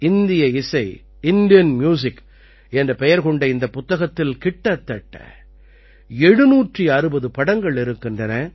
இந்திய இசை Indian music என்ற பெயர் கொண்ட இந்தப் புத்தகத்தில் கிட்டத்தட்ட 760 படங்கள் இருக்கின்றன